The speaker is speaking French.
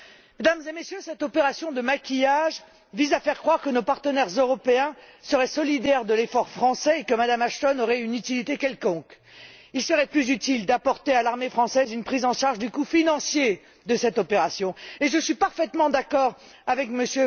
Mesdames et Messieurs, cette opération de maquillage vise à faire croire que nos partenaires européens seraient solidaires de l'effort français et que Mme Ashton aurait une utilité quelconque. Il serait plus utile d'apporter à l'armée française une prise en charge du coût financier de cette opération et je suis parfaitement d'accord avec M.